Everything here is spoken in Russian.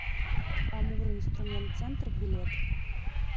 амуринструментцентр билет